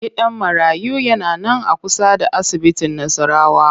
Gidan marayu yana nan a kusa da asibitin Nassarawa